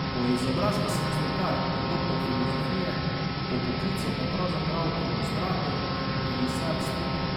Po izobrazbi sem slikar in doktor filozofije, po poklicu pa pravzaprav ilustrator in risar stripov.